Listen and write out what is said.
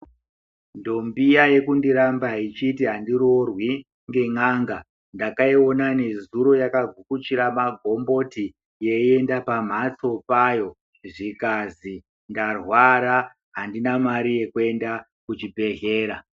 Ndombi iya yekundiramba ichiti handiroorwi ngen'anga ndakaiona nezuro yakagukuchira magomboti yeienda pamhatso payo. Zvikazi ndarwara, handina mare yekuenda kuchibhedhlera.